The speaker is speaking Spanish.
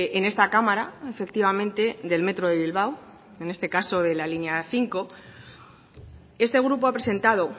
en esta cámara efectivamente del metro de bilbao en este caso de la línea cinco este grupo ha presentado